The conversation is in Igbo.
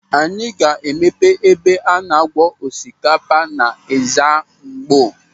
Anyị ga-emepe ebe a na-akwọ osikapa n'Ezzamgbo.